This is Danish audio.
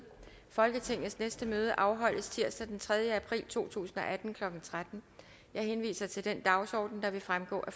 folketingets næste møde afholdes tirsdag den tredje april to tusind og atten klokken tretten jeg henviser til den dagsorden der vil fremgå af